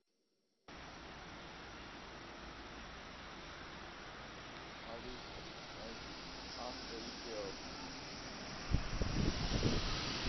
алиса найди ангри бердс